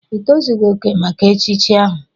Ị tozughị oke maka echichi ahu!